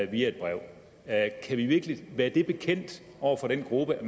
via et brev kan vi virkelig være bekendt over for den gruppe at